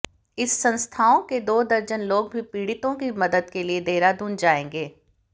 इस संस्थाओं के दो दर्जन लोग भी पीडि़तों की मदद के लिये देहरादून जाएंगे